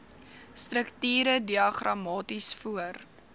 strukture diagramaties voor